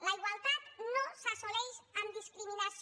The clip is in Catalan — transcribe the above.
la igualtat no s’assoleix amb discriminació